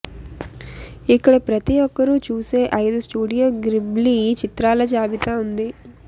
ఇక్కడ ప్రతి ఒక్కరూ చూసే ఐదు స్టూడియో గ్రిబ్లీ చిత్రాల జాబితా ఉంది